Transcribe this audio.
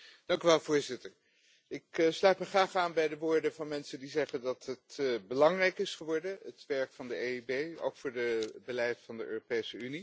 Voorzitter, ik sluit me graag aan bij de woorden van mensen die zeggen dat het belangrijk is geworden, het werk van de EIB, ook voor het beleid van de Europese Unie.